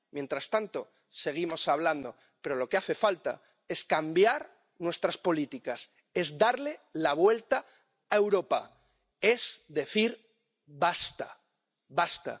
Mientras tanto, seguimos hablando, pero lo que hace falta es cambiar nuestras políticas, es darle la vuelta a Europa, es decir basta, basta.